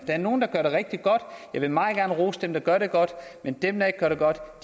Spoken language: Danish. er nogle der gør det rigtig godt jeg vil meget gerne rose dem der gør det godt men dem der ikke gør det godt